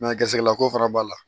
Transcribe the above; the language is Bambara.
gɛrisigɛ ko fana b'a la